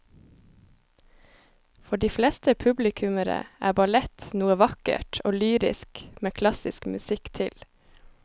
For de fleste publikummere er ballett noe vakkert og lyrisk med klassisk musikk til.